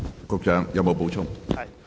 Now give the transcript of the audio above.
局長，你有否補充？